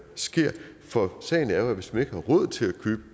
sker for sagen er jo at hvis ikke man har råd til at købe